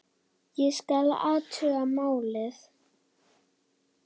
Ég skal athuga málið